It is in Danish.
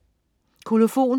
Kolofon